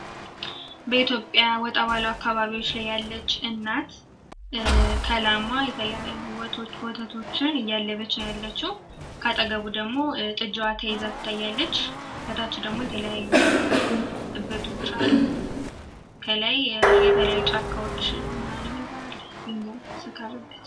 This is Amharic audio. በኢትዮጵያ ወጣ ባሉ አካባቢዎች ላይ ያለች እናት የተለያዩ ወተቶችን እያለበች ነው ያለችው ከአጠገቧ ደሞ ጥጃ ተይዛ ትታያለች ከታች ደግሞ የተለያዩ እበቶች አሉ እንዲሁም ከታች ደግሞ የተለያዩ ጫካ ድንጋዮች አሉ።